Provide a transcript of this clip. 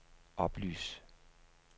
oplys